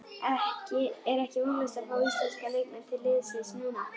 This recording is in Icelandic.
Er ekki vonlaust að fá íslenska leikmenn til liðsins núna?